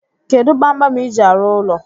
Kedu kpamkpam iji arụ ụlọ?